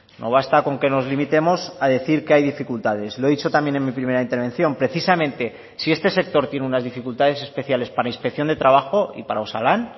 no basta con que nos limitemos a decir que hay dificultades lo he dicho también en mi primera intervención precisamente si este sector tiene unas dificultades especiales para inspección de trabajo y para osalan